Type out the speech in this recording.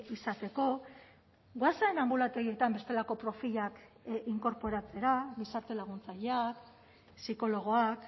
izateko goazen anbulategietan bestelako profilak inkorporatzera gizarte laguntzaileak psikologoak